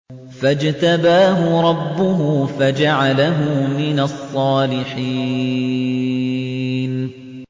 فَاجْتَبَاهُ رَبُّهُ فَجَعَلَهُ مِنَ الصَّالِحِينَ